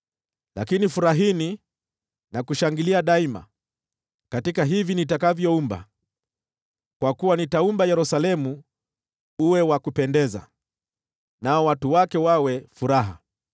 Lakini furahini na kushangilia daima katika hivi nitakavyoumba, kwa kuwa nitaumba Yerusalemu uwe wa kupendeza, nao watu wake wawe furaha.